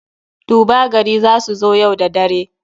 Duba gari za su zo yau da dare.